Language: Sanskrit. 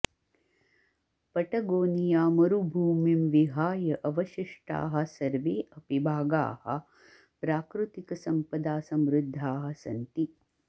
पटगोनियामरुभूमिं विहाय अवशिष्टाः सर्वे अपि भागाः प्राकृतिकसम्पदा समृद्धाः सन्ति